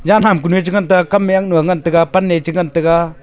jaan ham kunu ee chi ngantaga kam me aknu ngantaga pan ne chi ngantaga.